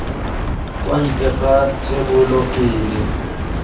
kwa ntle ga thebolo pele